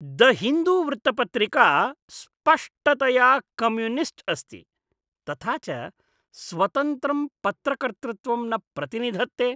The Hindu वृत्तपत्रिका स्पष्टतया communist अस्ति, तथा च स्वतन्त्रं पत्रकर्तृत्वं न प्रतिनिधत्ते।